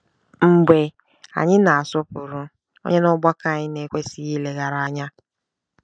Mgbe anyị na-asọpụrụ, ònye n'ọgbakọ anyị na-ekwesịghị ileghara anya?